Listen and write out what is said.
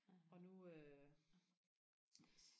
og nu øh